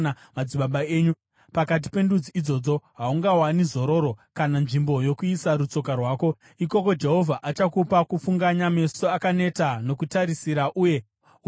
Pakati pendudzi idzodzo haungawani zororo, kana nzvimbo yokuisa rutsoka rwako. Ikoko Jehovha achakupa kufunganya, meso akaneta nokutarisira uye nokuora mwoyo.